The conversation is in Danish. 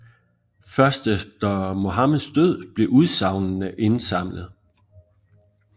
Først efter Muhammeds død blev udsagnene indsamlet